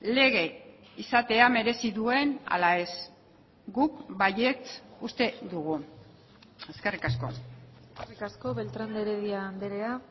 lege izatea merezi duen ala ez guk baietz uste dugu eskerrik asko eskerrik asko beltrán de heredia andrea